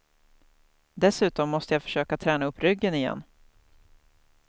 Dessutom måste jag försöka träna upp ryggen igen.